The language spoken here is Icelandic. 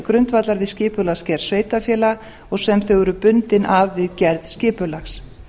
grundvallar við skipulagsgerð sveitarfélaga og sem þau eru bundin af við gerð skipulags